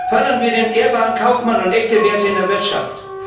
Fördern wir den ehrbaren Kaufmann und echte Werte in der Wirtschaft.